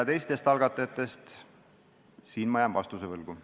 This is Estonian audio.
Teistest algatajatest rääkides jään ma vastuse võlgu.